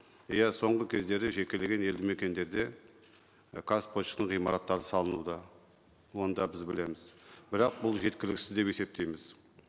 иә соңғы кездері жекелеген елді мекендерде қазпоштаның ғимараттары салынуда оны да біз білеміз бірақ бұл жеткіліксіз деп есептейміз